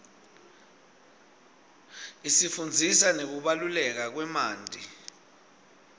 isifundzisa ngekubaluleka kwemanti